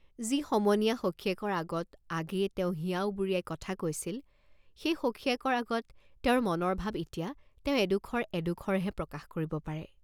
যি সমনীয়া সখীয়েকৰ আগত আগেয়ে তেওঁ হিয়া উবুৰিয়াই কথা কৈছিল, সেই সখীয়েকৰ আগত তেওঁৰ মনৰ ভাব এতিয়া তেওঁ এডোখৰ এডোখৰহে প্ৰকাশ কৰিব পাৰে।